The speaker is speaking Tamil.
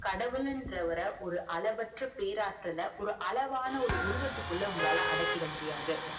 கடவுள்ன்ற வர ஒரு அளவற்ற பேர் ஆற்றலர் ஒரு அளவான உருவத்துக்குள்ள அடக்கிட முடியாது